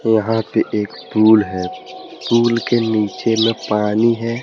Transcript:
यहां पे एक पूल है पूल के नीचे में पानी है।